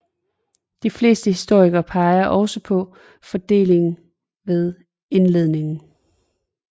De fleste historikere peger også på fordele ved ildledning